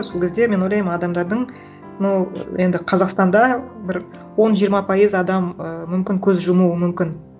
сол кезде мен ойлаймын адамдардың ну енді қазақстанда бір он жиырма пайыз адам і мүмкін көз жұмуы мүмкін